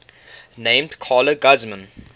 named carla guzman